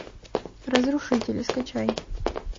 разрушители скачай